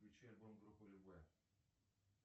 включи альбом группы любэ